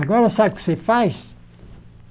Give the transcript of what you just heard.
Agora, sabe o que você faz?